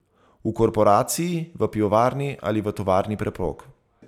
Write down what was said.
V Korporaciji, v pivovarni ali v tovarni preprog.